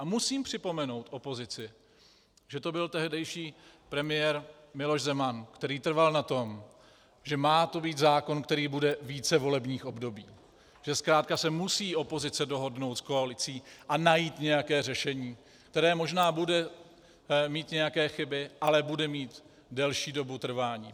A musím připomenout opozici, že to byl tehdejší premiér Miloš Zeman, který trval na tom, že má to být zákon, který bude více volebních období, že zkrátka se musí opozice dohodnout s koalicí a najít nějaké řešení, které možná bude mít nějaké chyby, ale bude mít delší dobu trvání.